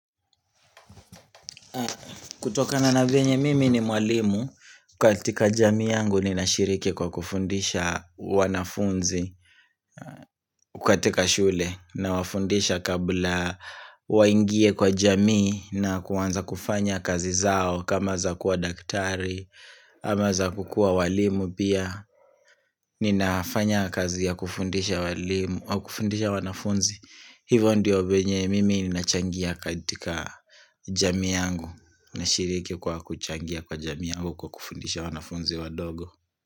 Kutokana na venye mimi ni mwalimu katika jamii yangu ninashiriki kwa kufundisha wanafunzi katika shule nawafundisha kabla waingie kwa jamii na kuanza kufanya kazi zao kama za kuwa daktari ama za kukuwa walimu pia Ninafanya kazi ya kufundisha wanafunzi Hivo ndio venye mimi nina changia katika jamii yangu na shiriki kwa kuchangia kwa jamii ua kwa kufundisha wanafunzi wadogo.